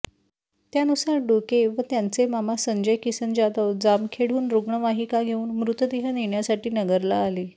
त्यानुसार डोके व त्यांचे मामा संजय किसन जाधव जामखेडहून रुग्णवाहिका घेऊन मृतदेह नेण्यासाठी नगरला आले